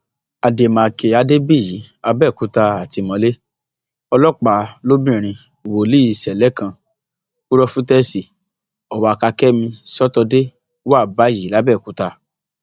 àdèmàkè àdèbíyí àbẹòkúta àtìmọlé ọlọpàá lobìnrin wòlíì ṣẹlẹ kan pùròfétẹẹsì ọwákàkẹmi sọtọdé wà báyìí làbẹọkúta